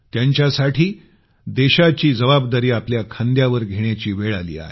त्यांच्यासाठी देशाची जबाबदारी आपल्या खांद्यावर घेण्याची वेळ आली आहे